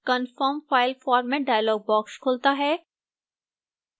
confirm file format dialog box खुलता है